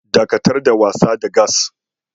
Dakatar da wasa da gas.